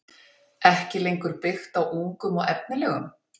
ekki lengur byggt á ungum og efnilegum?